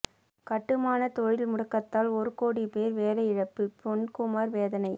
கட்டுமானத் தொழில் முடக்கத்தால் ஒரு கோடிப் போ் வேலை இழப்பு பொன்குமாா் வேதனை